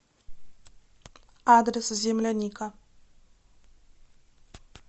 адрес земляника